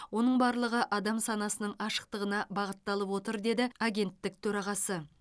оның барлығы адам санасының ашықтығына бағытталып отыр деді агенттік төрағасы